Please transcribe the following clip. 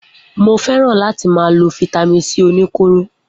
Mo fẹràn lati ma lo fítámìn c oníkóro.